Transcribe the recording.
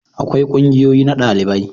akwai ƙungiyoyi na dalibai